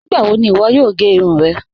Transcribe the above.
Nígbàwò ní iwọ́ yòò gẹ́ irun rẹ́?